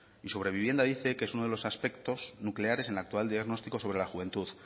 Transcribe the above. y sobre vivienda dice que es uno de los aspectos nucleares en el actual diagnóstico sobre la juventud